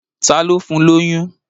Ta ló fún lóyún?